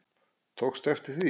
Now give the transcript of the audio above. Tókstu eftir því?